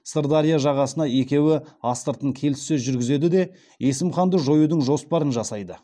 сырдария жағасында екеуі астыртын келіссөз жүргізеді де есім ханды жоюдың жоспарын жасайды